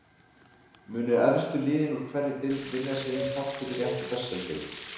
Munu efstu liðin úr hverri deild vinna sér inn þátttökurétt í þessari deild?